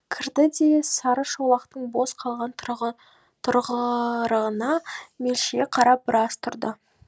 кірді де сарышолақтың бос қалған тұрғырына мелшие қарап біраз тұрды